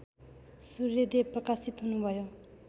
सूर्यदेव प्रकाशित हुनुभयो